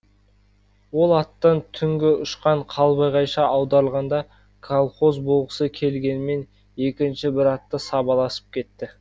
ол аттан түнгі ұшқан қалбағайша аударылғанда колхоз болғысы келгенмен екінші бір атты сабаласып кетті